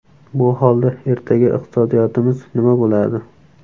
Bu holda ertaga iqtisodiyotimiz nima bo‘ladi?